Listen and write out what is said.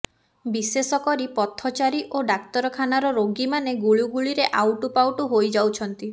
ବିଶେଷକରି ପଥଚାରୀ ଓ ଡାକ୍ତରଖାନାର ରୋଗୀମାନେ ଗୁଳୁଗୁଳିରେ ଆଉଟୁପାଉଟୁ ହୋଇଯାଉଛନ୍ତି